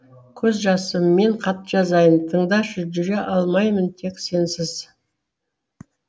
көз жасыммен хат жазайын тыңдашы жүре алмаймын тек сенсіз